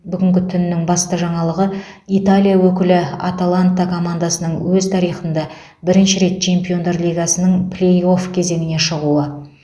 бүгінгі түннің басты жаңалығы италия өкілі аталанта командасының өз тарихында бірінші рет чемпиондар лигасының плей офф кезеңіне шығуы